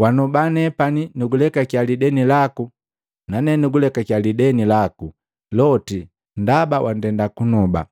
Wanoba nepani nukulekakia lideni laku nane nukulekaki lideni laku loti ndaba wandenda kunoba.